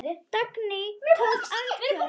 Dagný tók andköf.